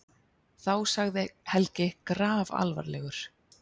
Þá sagði Helgi grafalvarlegur